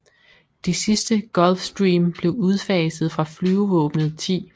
De sidste Gulfstream blev udfaset fra Flyvevåbnet 10